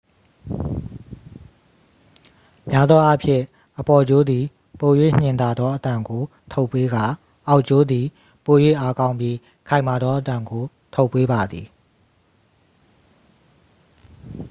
များသောအားဖြင့် အပေါ်ကြိုးသည် ပို၍ညင်သာသောအသံကိုထုတ်ပေးကာ အောက်ကြိုးသည် ပို၍အားကောင်းပြီး ခိုင်မာသောအသံကို ထုတ်ပေးပါသည်